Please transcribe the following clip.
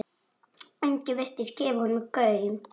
Enginn virtist gefa honum gaum.